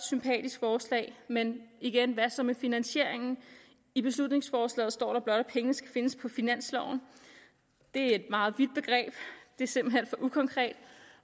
sympatisk forslag men igen hvad så med finansieringen i beslutningsforslaget står der blot at pengene skal findes på finansloven det er et meget vidt begreb det er simpelt hen for ukonkret